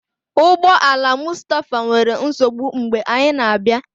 Ụgbọ ala Mustapha nwere nsogbu mgbe anyị na-abịa.